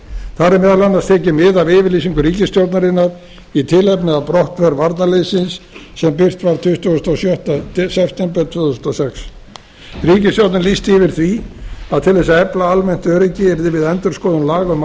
þar er meðal annars tekið mið af yfirlýsingu ríkisstjórnarinnar í tilefni af brottför varnarliðsins sem birt var tuttugasta og sjötta september tvö þúsund og sex ríkisstjórnin lýsti yfir því að til þess að efla almennt öryggi yrði við endurskoðun laga um